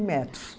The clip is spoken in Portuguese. metros.